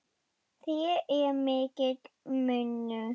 Þar er mikill munur.